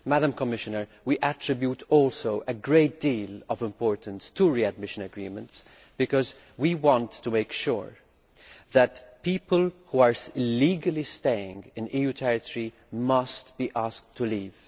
Madam Commissioner, we also attach a great deal of importance to readmission agreements because we want to make sure that people who are illegally staying in EU territory are asked to leave.